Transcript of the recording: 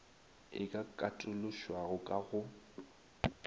e ka katološwago ka go